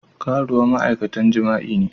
Karuwa ma'aikatan jima'i ne.